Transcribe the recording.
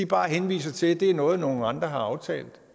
bare henviser til at det er noget som nogle andre har aftalt